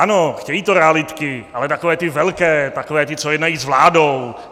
Ano, chtějí to realitky, ale takové ty velké, takové ty, co jednají s vládou.